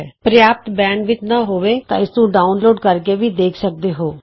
ਜੇ ਤੁਹਾਡੇ ਪ੍ਰਯਾਪ੍ਤ ਬੈਂਡਵਿੱਥ ਨਹੀਂ ਹੈ ਤਾਂ ਤੁਸੀਂ ਇਸ ਨੂੰ ਡਾਊਨਲੋਡ ਕਰਕੇ ਵੀ ਦੇਖ ਸਕਦੇ ਹੋ